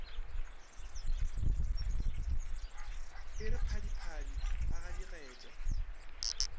e re phadiphadi a gadigetša